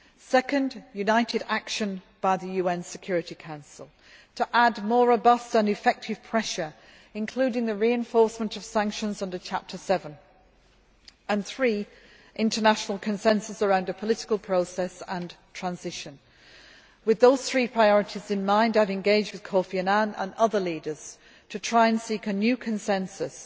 Secondly, united action by the UN Security Council to add more robust and effective pressure, including the reinforcement of sanctions under Chapter VII and, thirdly, international consensus around a political process and transition. With those three priorities in mind, I have engaged with Kofi Annan and other leaders to try to seek a new consensus,